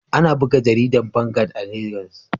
Ana buga jaridar Vanguard a Legas.